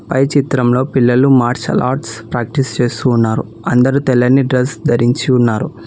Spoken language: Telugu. పై చిత్రంలో పిల్లలు మార్షల్ ఆర్ట్స్ ప్రాక్టీస్ చేస్తూ ఉన్నారు అందరూ తెల్లని డ్రెస్ ధరించి ఉన్నారు.